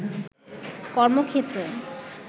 কর্মক্ষেত্র